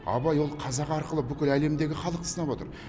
абай ол қазақ арқылы бүкіл әлемдегі халықты сынап отыр